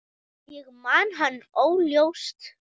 Ég man hann óljóst.